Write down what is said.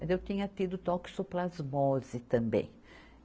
Mas eu tinha tido toxoplasmose também.